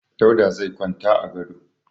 Dauda zai kwanta a gado.